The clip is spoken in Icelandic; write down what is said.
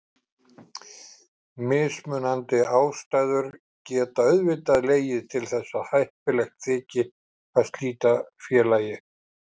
Mismunandi ástæður geta auðvitað legið til þess að heppilegt þyki að slíta félagi.